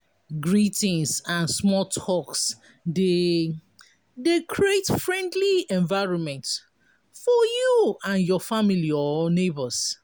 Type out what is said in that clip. greetings and small talks de de create friendly environment for you and your family or neighbours